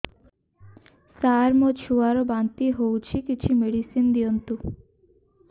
ସାର ମୋର ଛୁଆ ର ବାନ୍ତି ହଉଚି କିଛି ମେଡିସିନ ଦିଅନ୍ତୁ